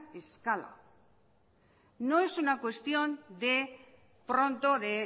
escala no es una cuestión de pronto de